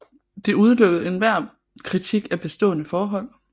Det udelukkede enhver kritik af bestående forhold